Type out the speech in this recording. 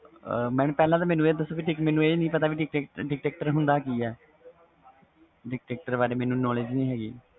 mam ਪਹਿਲੇ ਮੈਨੂੰ ਆਹ ਦਸੋ Dictator ਹੁੰਦਾ ਕਿ ਵ Dictator ਬਾਰੇ ਮੈਨੂੰ knowledge ਨਹੀਂ ਹੈ ਗਈ